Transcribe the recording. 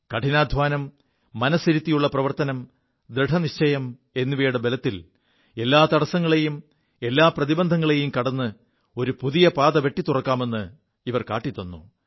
കഠിനാധ്വാനം മനസ്സിരുത്തിയുള്ള പ്രവർത്തനം ദൃഢനിശ്ചയം എിവയുടെ ബലത്തിൽ എല്ലാ തടസ്സങ്ങളെയും എല്ലാ പ്രതിബന്ധങ്ങളെയും കട് ഒരു പുതിയ പാത വെിത്തുറക്കാമെ് ഇവർ കാിത്തു